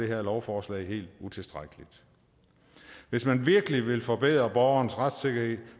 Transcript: her lovforslag helt utilstrækkeligt hvis man virkelig vil forbedre borgernes retssikkerhed